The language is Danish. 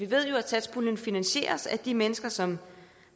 ved jo at satspuljen finansieres af de mennesker som